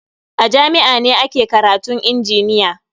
A jami'a ne ake karatun injiniya.